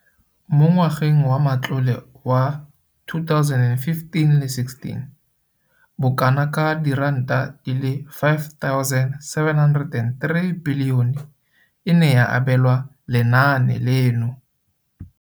Mo ngwageng wa matlole wa 2015-16, bokanaka R5 703 bilione e ne ya abelwa lenaane leno.